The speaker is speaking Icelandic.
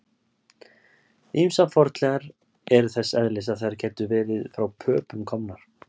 Ýmsar fornleifar eru þess eðlis að þær gætu verið frá Pöpum komnar.